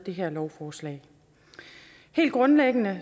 her lovforslag helt grundlæggende